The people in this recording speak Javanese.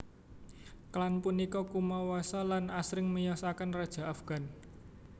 Klan punika kumawasa lan asring miyosaken raja Afgan